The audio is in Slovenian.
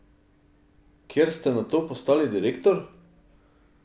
Kjer ste nato postali direktor?